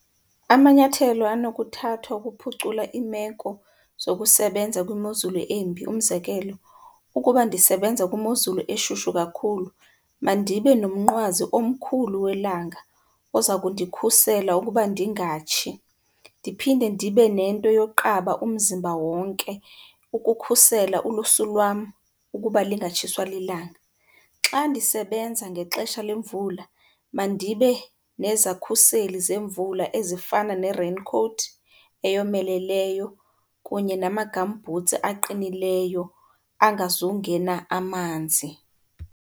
Amanyathelo anokuthathwa ukuphucula iimeko zokusebenza kwimozulu embi, umzekelo, ukuba ndisebenza kwimozulu eshushu kakhulu mandibe nomnqwazi omkhulu welanga oza kundikhusela ukuba ndingatshi. Ndiphinde ndibe nento yokuqaba umzimba wonke ukukhusela ulusu lwam ukuba lingatshiswa lilanga. Xa ndisebenza ngexesha lemvula mandibe nezakhuseli zemvula ezifana ne-raincoat eyomeleleyo kunye nama-gumboots aqinileyo angazungena amanzi.